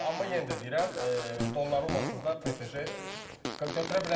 Amma yenə də deyirəm, Donnarummasız da PSJ götürə bilərdi.